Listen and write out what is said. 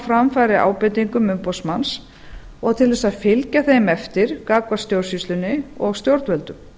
framfæri ábendingum umboðsmanns og til þess að fylgja þeim eftir gagnvart stjórnsýslunni og stjórnvöldum